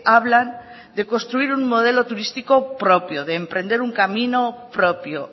hablan de construir un modelo turístico propio de emprender un camino propio